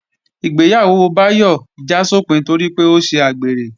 Ìgbéyàwó Báyọ̀ já sópin torí pé ó ṣe àgbèrè